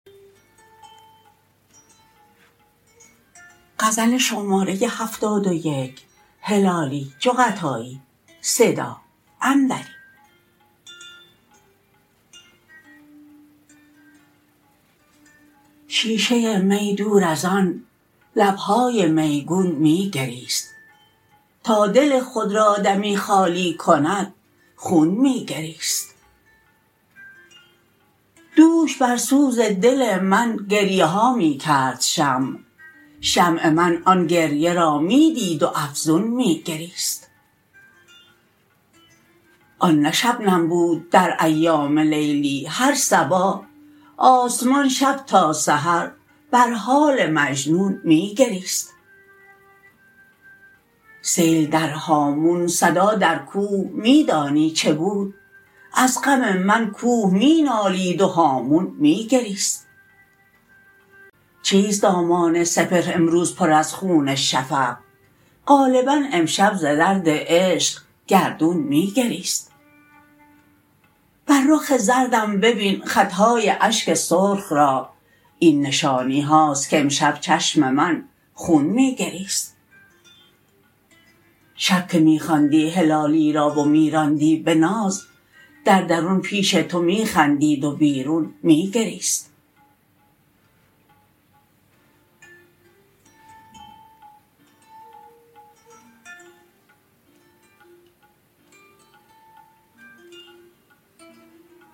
شیشه می دور از آن لب های میگون می گریست تا دل خود را دمی خالی کند خون می گریست دوش بر سوز دل من گریه ها می کرد شمع چشم من آن گریه را می دید و افزون می گریست آن نه شبنم بود در ایام لیلی هر صباح آسمان شب تا سحر بر حال مجنون می گریست سیل در هامون صدا در کوه می دانی چه بود از غم من کوه می نالید و هامون می گریست چیست دامان سپهر امروز پرخون از شفق غالبا امشب ز درد عشق گردون می گریست بر رخ زردم ببین خط های اشک سرخ را این نشانی هاست کامشب چشم من خون می گریست شب که می خواندی هلالی را و می راندی به ناز در درون پیش تو می خندید و بیرون می گریست